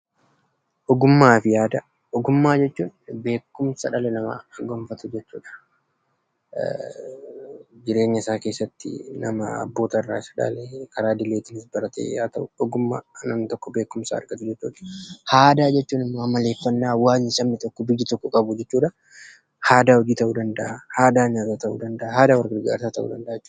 Ogummaa fi aadaa: Ogummaa jechuun beekumsi dhalli namaa gonfatu jechuu dha. Jireenya isaa keessatti nama abboota isaa irraa dhaalee karaa idilees haa ta'uu karaa namni tokko beekumsa argatuu dha. Aadaa jechuun immoo amaleeffanna hawwasni tokkoo fi biyyi tokko qabuu dha. Aadaa hojii ta'uu danda'aa, aadaa nyaataa ta'uu danda'aa jechuu dha.